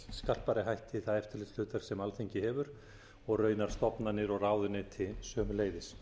skarpari hætti það eftirlitshlutverk sem alþingi hefur og raunar stofnanir og ráðuneyti sömuleiðis